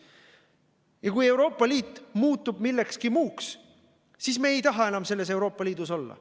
Ja kui Euroopa Liit muutub millekski muuks, siis me ei taha enam selles Euroopa Liidus olla.